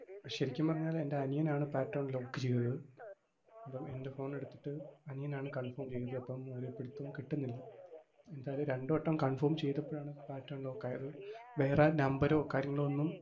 ശെരിക്കും പറഞ്ഞാൽ എൻറെ അനിയൻ ആണ് pattern lock ചെയ്തത്. അപ്പം എൻറെ phone എടുത്തിട്ട് അനിയനാണ് confirm ചെയ്തത്. അപ്പം ഒരു പിടുത്തവും കിട്ടുന്നില്ല. എന്തായാലും രണ്ടുവട്ടം confirm ചെയ്തപ്പഴാണ്‌ pattern lock ആയത്. വേറെ number ഓ കാര്യങ്ങളോ ഒന്നും,